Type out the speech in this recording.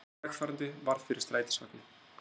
Gangandi vegfarandi varð fyrir strætisvagni